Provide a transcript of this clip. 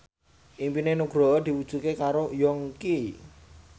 impine Nugroho diwujudke karo Yongki